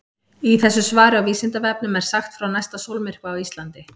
Í þessu svari á Vísindavefnum er sagt frá næsta sólmyrkva á Íslandi.